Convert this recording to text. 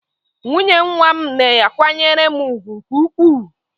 Nwunye nwa m na-akwanyere m ùgwù nke ukwuu.